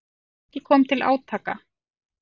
Ekki kom til átaka.